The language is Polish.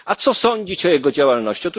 A co sądzić o jego działalności?